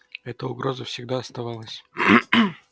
эта угроза всегда оставалась